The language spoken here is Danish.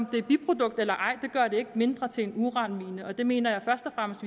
biprodukt eller ej gør det ikke mindre til en uranmine det mener jeg først og fremmest